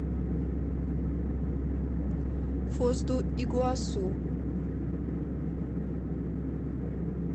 фос ду игуасу